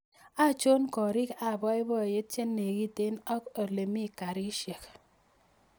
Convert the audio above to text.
Achon korik ab boiboiyet che negiten ak olemi garishek